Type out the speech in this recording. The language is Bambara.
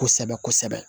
Kosɛbɛ kosɛbɛ